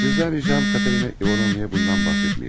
Sizdən ricam Katerina İvanovnaya bundan bəhs etməyiniz.